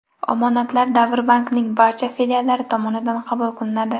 Omonatlar Davr Bank’ning barcha filiallari tomonidan qabul qilinadi.